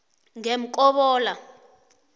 ngemkobola